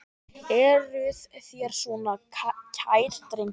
Eruð þér svona kær drengur?